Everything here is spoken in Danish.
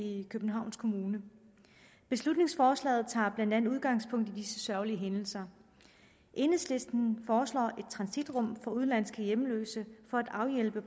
i københavns kommune beslutningsforslaget tager blandt andet udgangspunkt i disse sørgelige hændelser enhedslisten foreslår et transitrum for udenlandske hjemløse for at afhjælpe